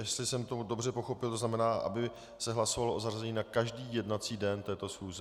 Jestli jsem to dobře pochopil, to znamená, aby se hlasovalo o zařazení na každý jednací den této schůze?